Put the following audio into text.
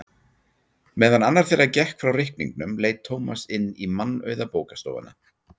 Meðan annar þeirra gekk frá reikningnum leit Tómas inn í mannauða bókastofuna.